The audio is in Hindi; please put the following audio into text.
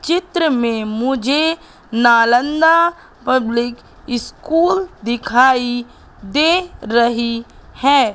चित्र में मुझे नालंदा पब्लिक स्कूल दिखाई दे रही है।